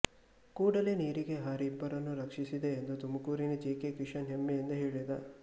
ಕೂಡಲೇ ನೀರಿಗೆ ಹಾರಿ ಇಬ್ಬರನ್ನು ರಕ್ಷಿಸಿದೆ ಎಂದು ತುಮಕೂರಿನ ಜಿ ಕೆ ಕಿಶನ್ ಹೆಮ್ಮೆಯಿಂದ ಹೇಳಿದ